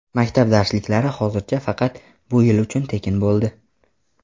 Maktab darsliklari hozircha faqat bu yil uchun tekin bo‘ldi.